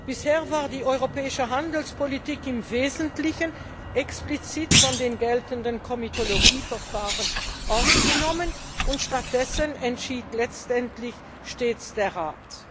Bisher war die europäische Handelspolitik im Wesentlichen explizit von den geltenden Komitologieverfahren ausgenommen, stattdessen entschied letztendlich stets der Rat.